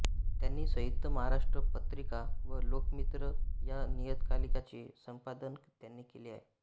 त्यांनी संयुक्त महाराष्ट्र पत्रिका व लोकमित्र या नियतकालिकाचे संपादन त्यांनी केले आहे